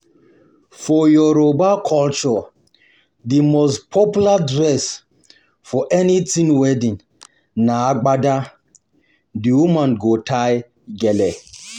For Yoruba culture, the most popular dress for anything wedding na Agbada, the woman go tie gele. go tie gele.